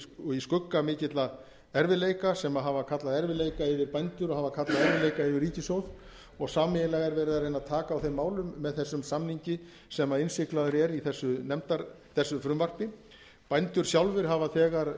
málið í skugga mikilla erfiðleika sem hafa kallað erfiðleika yfir bændur og hafa kallað erfiðleika yfir ríkissjóð og sameiginlega er verið að taka á þeim málum með þessum samningi sem innsiglaður er í þessu frumvarpi bændur sjálfir hafa þegar